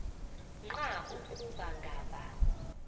nqa ukuba ngaba